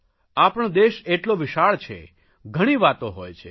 આપણો દેશ એટલો વિશાળ છે ઘણી વાતો હોય છે